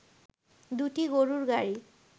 দুটি গরুর গাড়ি